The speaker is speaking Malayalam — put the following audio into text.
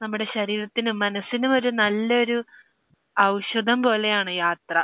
നമ്മുടെ ശരീരത്തിനും മനസ്സിനും ഒരു നല്ലൊരു ഔഷധം പോലെയാണ് യാത്ര.